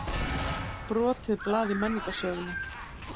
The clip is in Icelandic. Brotið blað í menningarsögunni